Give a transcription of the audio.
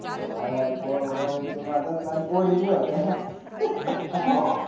हां यार पोरं बाळांची मज्जाच अं आणि पोरी भी होत्या ना